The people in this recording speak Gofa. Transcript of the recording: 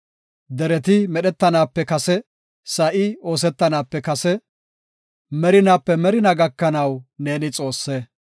Dereti medhetanaape kase, sa7i oosetanaape kase, merinaape merinaa gakanaw ne Xoosse.